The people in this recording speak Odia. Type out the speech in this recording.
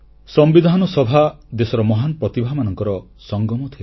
ସମ୍ବିଧାନ ସଭା ଦେଶର ମହାନ୍ ପ୍ରତିଭାମାନଙ୍କର ସଂଗମ ଥିଲା